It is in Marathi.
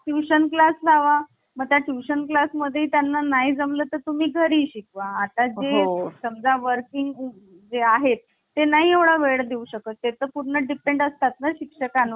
tuition class लावा मग त्या tuition class मध्ये त्यांना नाही जमलं तर तुम्ही घरी शिकवा. आता जे समजा working जे आहेत ते नाही एवढा वेळ देऊ शकत. पूर्ण depend असतात ना शिक्षकां